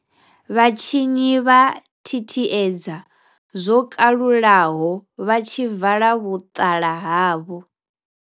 Vhatshinyi vha thithiedza zwo kalulaho vha tshi vala vhuṱala havho.